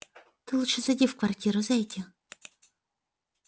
ты лучше зайди в квартиру зайди